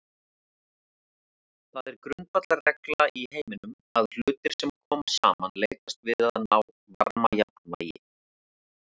Það er grundvallarregla í heiminum að hlutir sem koma saman leitast við að ná varmajafnvægi.